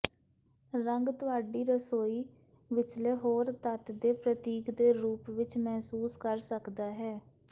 ਰੰਗ ਤੁਹਾਡੀ ਰਸੋਈ ਵਿਚਲੇ ਹੋਰ ਤੱਤ ਦੇ ਪ੍ਰਤੀਕ ਦੇ ਰੂਪ ਵਿਚ ਮਹਿਸੂਸ ਕਰ ਸਕਦਾ ਹੈ